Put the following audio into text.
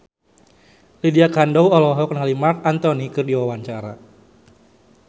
Lydia Kandou olohok ningali Marc Anthony keur diwawancara